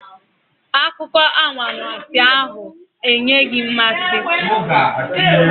Akụkọ anwansi ahụ anaghị enye mmasị.